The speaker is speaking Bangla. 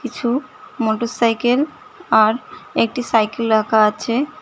কিছু মোটরসাইকেল আর একটি সাইকেল রাখা আছে।